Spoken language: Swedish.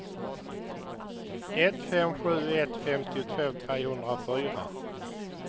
ett fem sju ett femtiotvå trehundrafyra